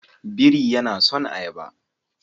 Buri yana son ayaba.